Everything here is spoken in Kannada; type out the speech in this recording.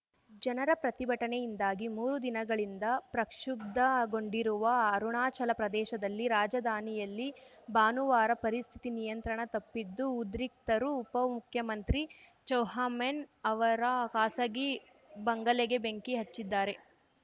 ಜನರ ಪ್ರತಿಭಟನೆಯಿಂದಾಗಿ ಮೂರು ದಿನಗಳಿಂದ ಪ್ರಕ್ಷುಬ್ಧಗೊಂಡಿರುವ ಅರುಣಾಚಲ ಪ್ರದೇಶದಲ್ಲಿ ರಾಜಧಾನಿಯಲ್ಲಿ ಭಾನುವಾರ ಪರಿಸ್ಥಿತಿ ನಿಯಂತ್ರಣ ತಪ್ಪಿದ್ದು ಉದ್ರಿಕ್ತರು ಉಪ ಮುಖ್ಯಮಂತ್ರಿ ಚೋವ್ಹಾ ಮೆನ್‌ ಅವರ ಖಾಸಗಿ ಬಂಗಲೆಗೆ ಬೆಂಕಿ ಹಚ್ಚಿದ್ದಾರೆ